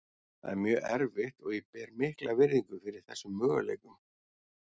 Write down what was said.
Það er mjög erfitt og ég ber mikla virðingu fyrir þessum möguleikum.